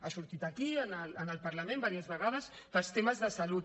ha sortit aquí en el parlament diverses vegades pels temes de salut